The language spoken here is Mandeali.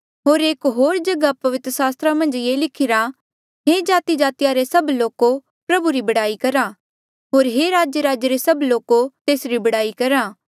होर एक होर जगहा पवित्र सास्त्रा मन्झ ये लिखिरा हे जातिजातिया रे सब लोको प्रभु री बड़ाई करा होर हे राज्यराज्य रे सब लोको तेसरी बड़ाई करा